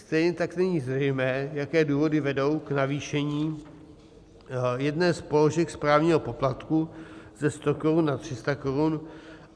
Stejně tak není zřejmé, jaké důvody vedou k navýšení jedné z položek správního poplatku ze 100 korun na 300 korun.